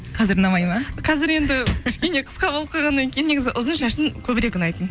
қазір ұнамайды ма қазір енді кішкене қысқа болып қалғаннан кейін негізі ұзын шашың көбірек ұнайтын